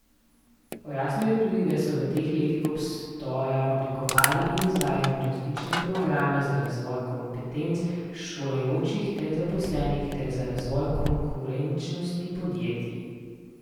Pojasnil je tudi, da so v teh letih obstoja oblikovali in izvajali različne programe za razvoj kompetenc šolajočih ter zaposlenih ter za razvoj konkurenčnosti podjetij.